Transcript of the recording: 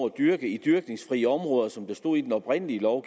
dyrke i dyrkningsfrie områder som der stod i den oprindelige lov